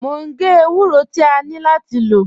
Mo ń gé èwúrọ̀ tí à nlọ láti lọ́.